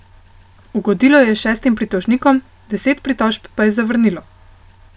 Ugodilo je šestim pritožnikom, deset pritožb pa je zavrnilo.